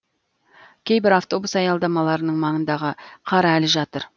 кейбір автобус аялдамаларының маңындағы қар әлі жатыр